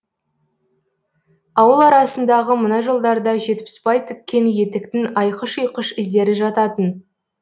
ауыл арасындағы мына жолдарда жетпісбай тіккен етіктің айқыш ұйқыш іздері жататын